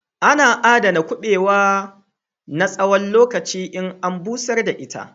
Ana aɗana kubewa na tsawon lokaci in an bushar da shi.